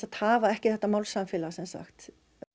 hafa ekki þetta málsamfélag sem sagt